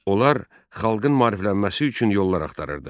Onlar xalqın maariflənməsi üçün yollar axtarırdı.